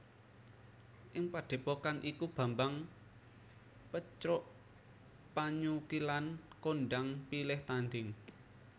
Ing padhepokan iku Bambang Pecrukpanyukilan kondhang pilih tandhing